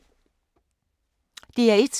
DR1